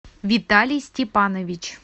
виталий степанович